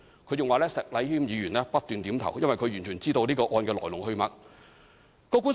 她還說石禮謙議員不斷點頭，因為他完全知道這個案的來龍去脈。